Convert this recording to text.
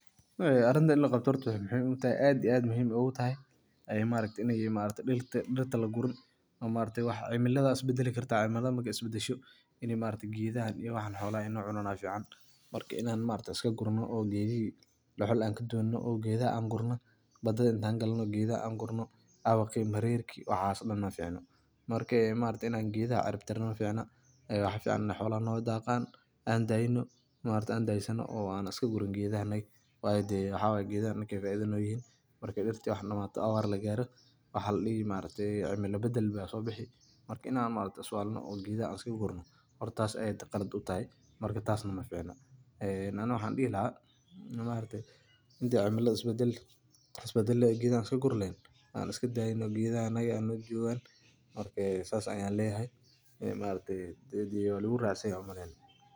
Arintan in laqabto waxeey aad iyo aad muhiim oogu tahay in dirta lagurin oo cimilada isbadali kartaa, markeey isbadasho inaay geedaha xoolaha cunaan ayaa fican, marka inaan iska gurno oo geedaha gurno badada inaan galno geedaha aan gurno maficno, marka in geedaha aan cirib tirno maficno, waxaa fican inaay xoolaha noo daaqan, aan daysano oo aan iska gurin, waayo geedaha anaga ayeey faaida noo yihin, marka dirta aay damaato oo abaar lagaaro waxaa ladihi cimila badal ayaa soo bixi, marka inaan is walno oo aan geedaha iska gurno horta taas aad ayeey qalad utahay, mana ficno aniga waxaan dihi lahaa inta cimilada aay is badali lahayeen oo aan geedaha iska guri leheen aan iska daayno geedaha hanoo joogan saas ayaan leyahay.